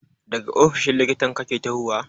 Daga ofishin likitan kake tahowa?